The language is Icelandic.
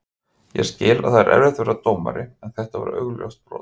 Ég skil að það er erfitt að vera dómari en þetta var augljóst brot.